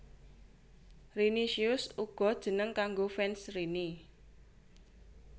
Rinicious uga jeneng kanggo fans Rini